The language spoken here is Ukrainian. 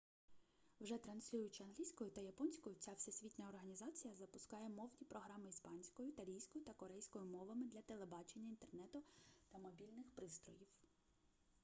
вже транслюючи англійською та японською ця всесвітня організація запускає мовні програми іспанською італійською та корейською мовами для телебачення інтернету та мобільних пристроїв